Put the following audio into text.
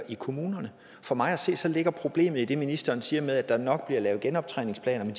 i kommunerne for mig at se ligger problemet i det ministeren siger at der nok bliver lavet genoptræningsplaner men